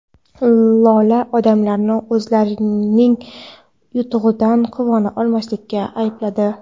Lola odamlarni o‘zgalarning yutug‘idan quvona olmaslikda aybladi.